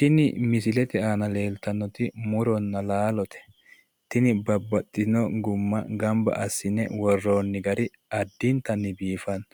Tini misilete aana leeltannoti muronna laalote. Tini babbaxxitino gumma gamba assine worroonni gari addintanni biifanno.